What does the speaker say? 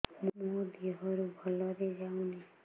ମୋ ଦିହରୁ ଭଲରେ ଯାଉନି